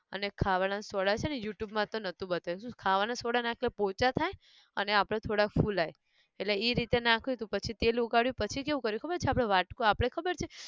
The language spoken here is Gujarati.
અને ખાવાના soda છે ને youtube માં તો નહોતું બતાયું શુ છ ખાવાના soda નાખીએ પોચાં થાય અને આપણે થોડા ફુલાય, એટલે ઈ રીતે નાખ્યું હતું પછી તેલ ઉકાળ્યું પછી કેવું કર્યું ખબર છે આપણે વાટકો આપણે ખબર છે